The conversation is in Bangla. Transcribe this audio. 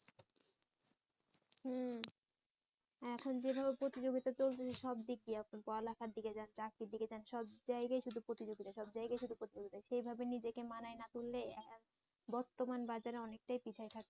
হম এখন যেভাবে প্রতিযোগিতা চলতেছে সবদিকেই এখন পড়ালেখার দিকে যান চাকরির দিকে যান সব জায়গায় শুধু প্রতিযোগিতা সব জায়গায় শুধু প্রতিযোগিতা সেই ভাবে নিজেকে মানায় না তুললে বর্তমান বাজারে অনেকটাই পিছায় থাকতে হবে